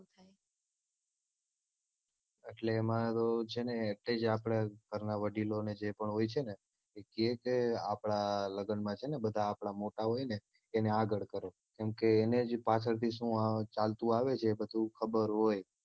એટલે એમાં તો છે ને એટલે જ આપડે ઘરનાં વડીલોને જે પણ હોય છે ને કે કે આપણા લગ્નમાં છે ને બધાં આપણા મોટા હોયને એને આગળ કરો કેમ કે એને જ પાછળથી શું ચાલતું આવે છે બધું ખબર હોય